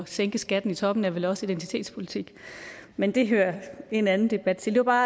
sænke skatten i toppen er vel også identitetspolitik men det hører en anden debat til det var